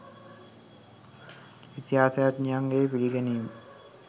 ඉතිහාසඥයන්ගේ පිළිගැනීම